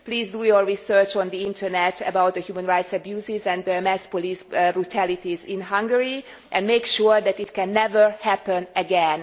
Please do your research on the Internet about the human rights abuses and mass police brutalities in Hungary and make sure that it can never happen again.